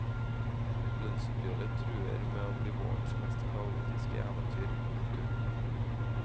Lønnsoppgjøret truer med å bli vårens mest kaotiske eventyr. punktum